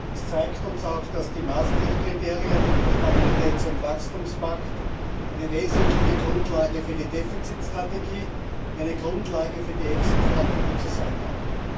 Das zeigt uns auch, dass die Maastricht Kriterien und der Stabilitäts und Wachstumspakt eine wesentliche Grundlage für die Defizit Strategie, eine Grundlage für die Exit Strategie zu sein haben.